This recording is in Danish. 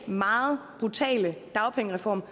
meget brutale dagpengereform